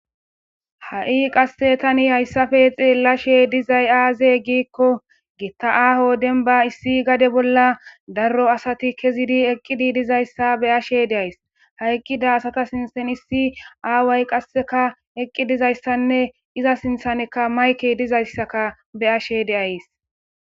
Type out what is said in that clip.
ha7i qasse tani hayssafe xeellashe dizay aaze giikko gitta aaho denba issi gade bolla darro asati kezidi eqqidi dizayssa be ashe deays haiqqida asata sinsen issi aaway qasseka eqqi dizayssanne iza sinthaneka mayke dizayssaka be ashe deays